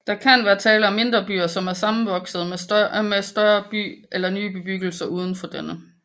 Der kan være tale om mindre byer som er sammenvoksede med en større by eller nye bebyggelser uden for denne